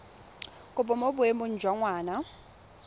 kopo mo boemong jwa ngwana